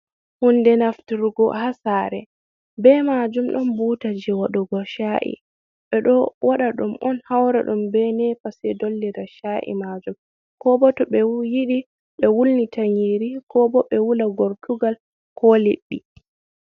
Hunde nafturgo ha sare, be majum ɗon butaji wadugo cha’i, ɓe ɗo waɗa ɗum on haura ɗum be nepa se dollida cha’i majum ko bo to ɓe yiɗi ɓe wulnita nyiri ko bo ɓe wula gortugal ko leɗɗi.